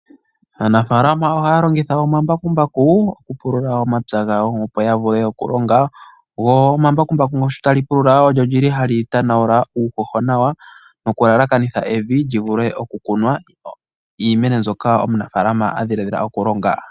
Aanafaalama ohaya longitha omambakumbaku oku pulula omapya gawo, opo ya vule okulonga, go omambakumbaku sho tali pulula olyo li li ,tali tanawuna uuhoho nawa ,noku lalakanitha evi ,li vule oku kunwa iimeno mbyoka omunafaalama adhilaadhila oku longa.